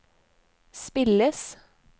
spilles